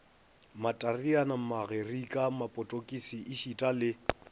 matareane magerike mapotokisi ešita le